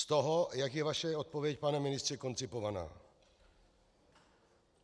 Z toho, jak je vaše odpověď, pane ministře, koncipovaná.